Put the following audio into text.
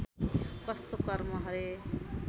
कस्तो कर्म हरे